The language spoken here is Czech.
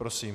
Prosím.